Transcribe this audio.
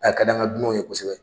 A ka di an ka dunan ye kosɛbɛ.